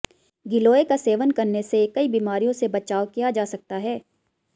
गिलोय का सेवन करने से कई बीमारियों से बचाव किया जा सकता है